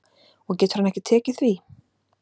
Og getur hann ekki tekið því?